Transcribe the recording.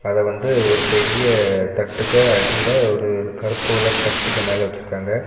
அத வந்து ஒரு பெரிய தட்டுக்க அடியில ஒரு கருப்பு கலர் சட்டிக்கு மேல வச்சிருக்காங்க.